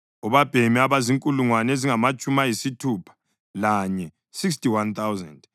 obabhemi abazinkulungwane ezingamatshumi ayisithupha lanye (61,000)